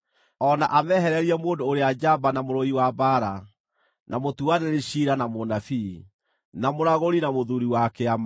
o na amehererie mũndũ ũrĩa njamba na mũrũi wa mbaara, na mũtuanĩri ciira na mũnabii, na mũragũri na mũthuuri wa kĩama,